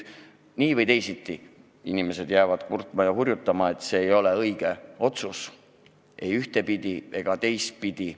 Nii või teisiti jäävad inimesed kurtma ja hurjutama, et see ei ole õige otsus, ei ühtepidi ega teistpidi.